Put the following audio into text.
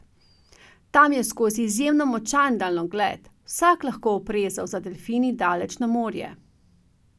Tam je skozi izjemno močan daljnogled vsak lahko oprezal za delfini daleč na morje.